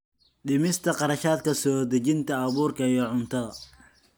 Dhimista kharashaadka soo dejinta abuurka iyo cuntada.